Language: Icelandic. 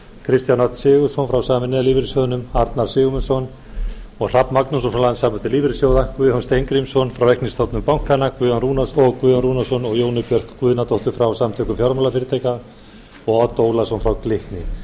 kristján örn sigurðsson frá sameinaða lífeyrissjóðnum arnar sigurmundsson og hrafn magnússon frá landssamtökum lífeyrissjóða guðjón steingrímsson frá reiknistofu bankanna guðjón rúnarsson og jónu björk guðnadóttur frá samtökum fjármálafyrirtækja og odd ólason frá glitni ástæðan fyrir að